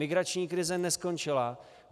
Migrační krize neskončila.